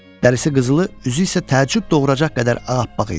Dərisi qızılı, üzü isə təəccüb doğuracaq qədər ağappaq idi.